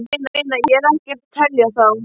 Ég meina, ég er ekkert að telja þá.